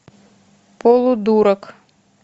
полудурок